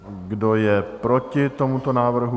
Kdo je proti tomuto návrhu?